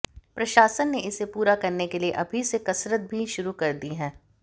प्रशासन ने इसे पूरा करने के लिए अभी से कसरत भी शुरू कर दी है